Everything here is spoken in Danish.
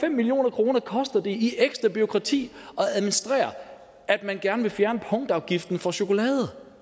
en million kroner koster det i ekstra bureaukrati at administrere at man gerne vil fjerne punktafgiften for chokolade